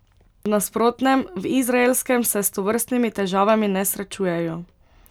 V nasprotnem, Izraelskem, se s tovrstnimi težavami ne srečujejo.